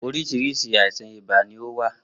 Oríṣiríṣi àìsàn ibà ní o wà